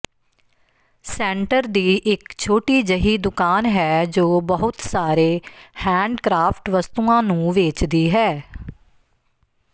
centre ਦੀ ਇਕ ਛੋਟੀ ਜਿਹੀ ਦੁਕਾਨ ਹੈ ਜੋ ਬਹੁਤ ਸਾਰੇ ਹੈਂਡਕ੍ਰਾਫਟ ਵਸਤੂਆਂ ਨੂੰ ਵੇਚਦੀ ਹੈ